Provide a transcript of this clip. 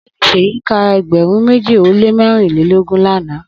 Ogbeni Seyi mi ka egberun meji o le merinlelogun lana